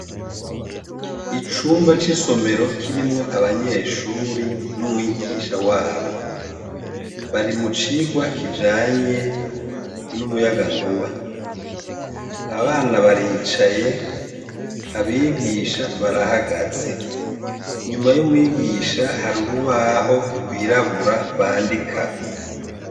Icumba c'isomero kirimwo abanyeshure n'umwigisha wabo. Bari mucigwa kijanye ,n'umuyagankuba. Abana baricaye, abigisha barahagaze. Inyuma y'umwigisha harurubaho gwirabura bandikako.